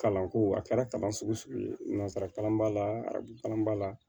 Kalanko a kɛra kalan sugu sugu ye nanzara kalan b'a la arabu kalan b'a la